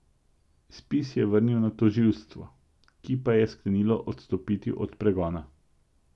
Spis je vrnil na tožilstvo, ki pa je sklenilo odstopiti od pregona.